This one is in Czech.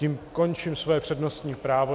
Tím končím svoje přednostní právo.